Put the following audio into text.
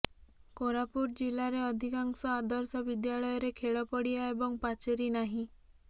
କୋରାପୁଟ ଜିଲାରେ ଅଧିକାଂଶ ଆଦର୍ଶ ବିଦ୍ୟାଳୟରେ ଖେଳପଡ଼ିଆ ଏବଂ ପାଚେରି ନାହିଁ